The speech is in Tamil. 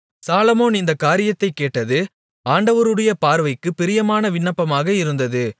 சாலொமோன் இந்தக் காரியத்தைக் கேட்டது ஆண்டவருடைய பார்வைக்குப் பிரியமான விண்ணப்பமாக இருந்தது